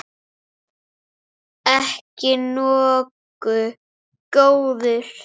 Ekki nógu góður!